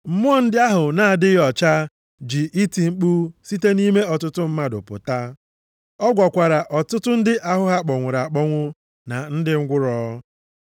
Mmụọ ndị ahụ na-adịghị ọcha ji iti mkpu site nʼime ọtụtụ mmadụ pụta. Ọ gwọkwara ọtụtụ ndị ahụ ha kpọnwụrụ akpọnwụ na ndị ngwụrọ.